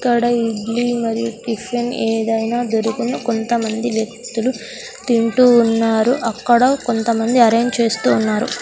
ఇక్కడ ఇడ్లీ మరియు టిఫిన్ ఏదైనా దొరుకును కొంతమంది వ్యక్తులు తింటూ ఉన్నారు అక్కడ కొంతమంది అరేంజ్ చేస్తూ ఉన్నారు.